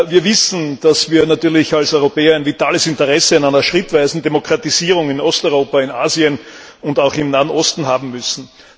Wir wissen, dass wir als Europäer natürlich ein vitales Interesse an einer schrittweisen Demokratisierung in Osteuropa, in Asien und auch im Nahen Osten haben müssen.